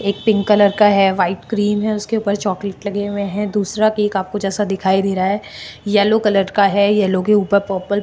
एक pink colour का है व्हाइट क्रीम है उसके ऊपर चॉकलेट लगे हुए है दूसरा केक जैसा आपको दिखाई दे रहा है येलो कलर का है येलो के ऊपर पर्पल --